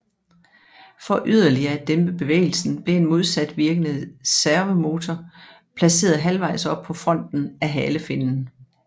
For yderligere at dæmpe bevægelsen blev en modsat virkende servomotor placeret halvvejs oppe på fronten af halefinnen